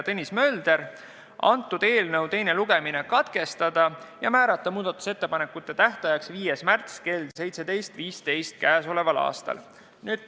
Otsustati teha ettepanek eelnõu teine lugemine katkestada ja määrata muudatusettepanekute tähtajaks 5. märts kell 17.15.